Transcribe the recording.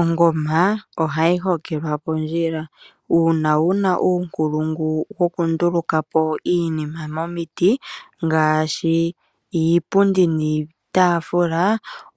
Ongoma ohayi hokelwa pondjila uuna una uunkulungu wokundulukapo iinima momiti ngaashi iipundi niitafula